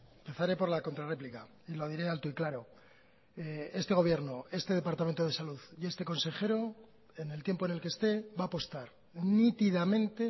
empezaré por la contrarréplica y lo diré alto y claro este gobierno este departamento de salud y este consejero en el tiempo en el que esté va a apostar nítidamente